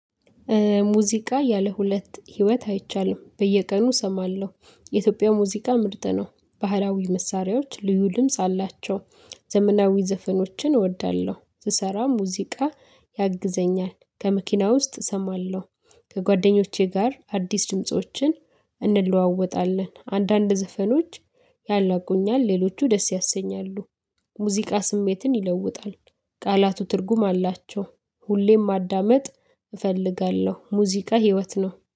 ሙዚቃ ያለ ሁለት ህይወት አይቻልም በየቀኑ እሰማለሁ የኢትዮጵያ ሙዚቃ ምርጥ ነው ባህላዊ መሳሪያዎች ድምጽ ደምስ አላቸው። ዘመናዊ ዘፈኖችን እወዳለሁ ስሰራም ሙዚቃ ያግዘኛል ከመኪና ውስጥ እሰማለሁ። ከጓደኞቼ ጋር አዲስ ድምፆችን እንለዋወጣለን። አንዳንድ ዘፈኖች ያላቁኛል ሌሎቹ ደስ ያሰኛሉ። ሙዚቃ ስሜትን ይለውጣል። ቃላቱ ትርጉም አላቸው። ሁሌም ማዳመጥ እፈልጋለሁ ሙዚቃ ህይወት ነው